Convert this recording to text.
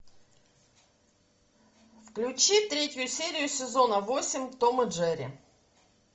включи третью серию сезона восемь том и джерри